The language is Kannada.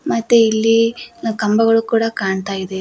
ಮತ್ತೆ ಇಲ್ಲಿ ನ್ನ ಕಂಬಗಳು ಕೂಡ ಕಾಣ್ತಾ ಇದೆ.